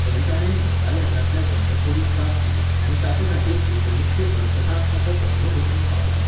थंय ताणें नागालँडांतल्या बंडखोरीक जाप दिली आनी ताचेखातीर एकुणीसशें अडसठांत ताका पद्मभूषण फाव जालो.